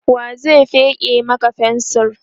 wa zai feke Maka fensir?